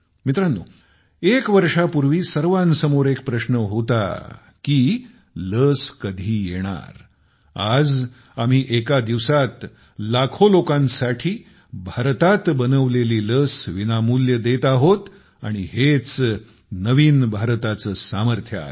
मित्रांनो एक वर्षापूर्वी सर्वांसमोर एक प्रश्न होता की लस कधी येणार आज आम्ही एका दिवसात लाखो लोकांसाठी भारतात बनवलेली लस विनामूल्य देत आहोत आणि हेच नवीन भारताचे सामर्थ्य आहे